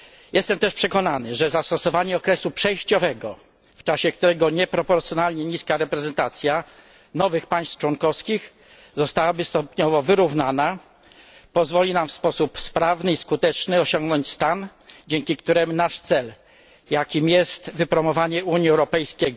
Jestem też przekonany, że zastosowanie okresu przejściowego, w czasie którego nieproporcjonalnie niska reprezentacja nowych państw członkowskich zostałaby stopniowo wyrównana, pozwoli nam w sposób sprawny i skuteczny osiągnąć stan, dzięki któremu nasz cel, jakim jest wypromowanie Unii Europejskiej